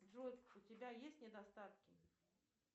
джой у тебя есть недостатки